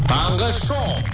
таңғы шоу